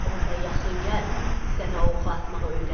Onda yaxın gəl, sənə oxu atmağı öyrədim.